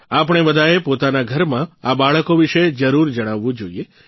આપણે બધાંએ પોતાના ઘરમાં આ બાળકો વિશે જરૂર જણાવવું જોઇએ